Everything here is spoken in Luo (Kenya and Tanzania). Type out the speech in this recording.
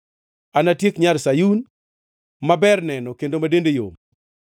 Anatiek nyar Sayun, ma ber neno kendo ma dende yom.